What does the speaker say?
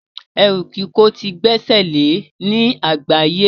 Ẹrú kíkò ti gbesele ní àgbáye